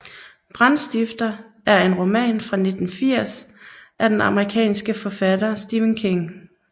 Brandstifter er en roman fra 1980 af den amerikanske forfatter Stephen King